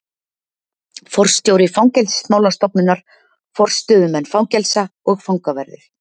Forstjóri fangelsismálastofnunar, forstöðumenn fangelsa og fangaverðir.